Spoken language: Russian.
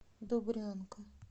добрянка